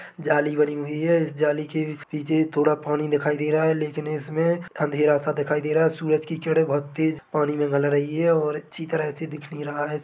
जाली बनी हुई है जाली के नीचे थोड़ा पानी दिखाई दे रहा हैं लेकीन इसमें अंधेरा सा दिखाई दे रहा है सूरज की किरने बहोत तेज पानी में गल रही हैं और अच्छी तरह से दिख नही रहा है।